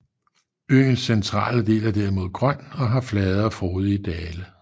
Øens centrale del er derimod grøn og har flade og frodige dale